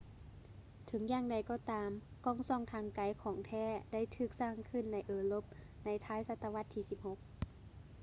ເຖິງຢ່າງໃດກໍຕາມ ກ້ອງສ່ອງທາງໄກຂອງແທ້ໄດ້ຖືກສ້າງຂຶ້ນໃນເອີຣົບໃນທ້າຍສະຕະວັດທີ 16